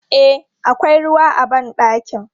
E, akwai ruwa a ban ɗakin.